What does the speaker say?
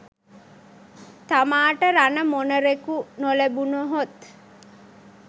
තමාට රණ මොණරෙකු නොලැබුණහොත්